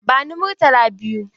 Bani Murtala biyu!